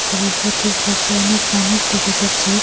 জলাশয়টির পাশে অনেক মানুষ দেখা যাচ্ছে।